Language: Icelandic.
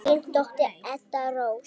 Þín dóttir, Edda Rósa.